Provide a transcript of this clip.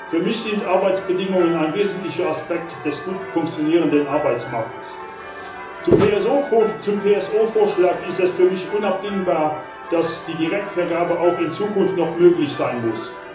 Für mich sind Arbeitsbedingungen ein wesentlicher Aspekt des gut funktionierenden Arbeitsmarktes. Zum PSO Vorschlag ist es für mich unabdingbar, dass die Direktvergabe auch in Zukunft noch möglich sein muss.